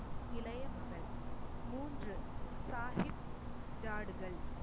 இளைய மகள் மூன்று சாஹிப் ஜாடுகள்